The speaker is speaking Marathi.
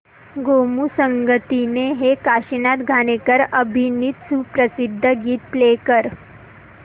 गोमू संगतीने हे काशीनाथ घाणेकर अभिनीत सुप्रसिद्ध गीत प्ले कर